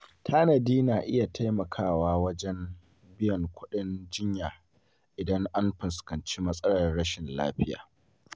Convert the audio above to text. Tanadi na iya taimakawa wajen biyan kuɗin jinya idan an fuskanci matsalar rashin lafiya.